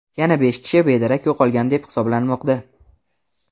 Yana besh kishi bedarak yo‘qolgan deb hisoblanmoqda.